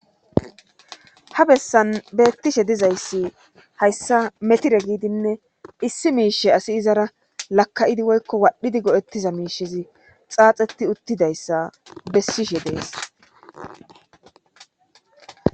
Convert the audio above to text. ha bessan beettishe dizayssi hayssa metire giidinne issi miishe asi izara laka7idi woykko wadhdhidi go7ettiza miishezi xaaxeti uttidayssa bessishe dees